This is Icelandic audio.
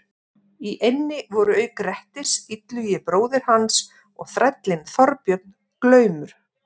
Í eynni voru auk Grettis, Illugi bróðir hans og þrællinn Þorbjörn glaumur.